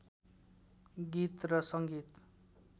गीत र सङ्गीत